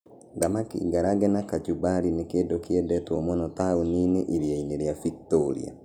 Thamaki ngarange na kachumbari nĩ kĩndũ kĩendetwo mũno taũni-inĩ iria-inĩ rĩa Victoria.